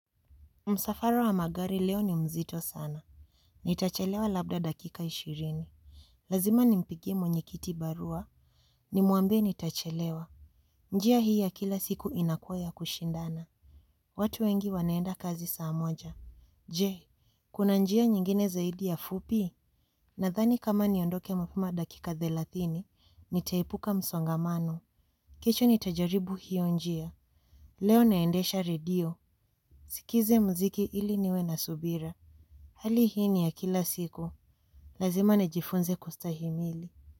Msafara wa magari leo ni mzito sana. Nitachelewa labda dakika ishirini. Lazima nimpigie mwenyekiti barua. Nimuambie nitachelewa. Njia hii ya kila siku inakua ya kushindana. Watu wengi wanaenda kazi saa moja. Je, kuna njia nyingine zaidi ya fupi? Nadhani kama niondoke mapema dakika thelathini, nitaepuka msongamano. Kesho nitajaribu hiyo njia. Leo naendesha radio. Nisikize mziki ili niwe na subira. Hali hii ni ya kila siku, lazima nijifunze kustahimili.